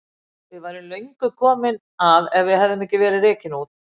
Við værum löngu komin að ef við hefðum ekki verið rekin út.